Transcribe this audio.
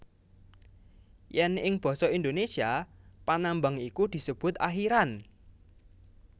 Yen ing basa Indonesia panambang iku disebut akhiran